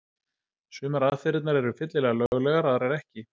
Sumar aðferðirnar eru fyllilega löglegar, aðrar ekki.